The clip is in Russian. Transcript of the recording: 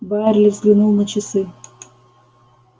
байерли взглянул на часы